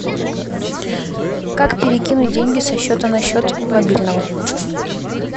как перекинуть деньги со счета на счет мобильного